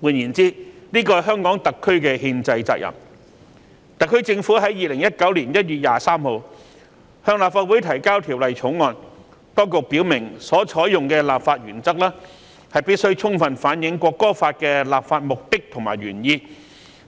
換言之，這是香港特區的憲制責任，特區政府在2019年1月23日向立法會提交《條例草案》，當局表明所採用的立法原則必須充分反映《國歌法》的立法目的和原意，